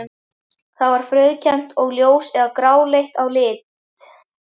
Það er frauðkennt og ljós- eða gráleitt að lit.